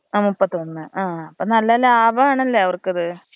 ആ മുപ്പത്തൊന്ന് ആ അപ്പൊ നല്ല ലാഭാണ് ല്ലെ അവർക്കിത്.